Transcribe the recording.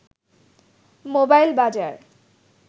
mobile বাজার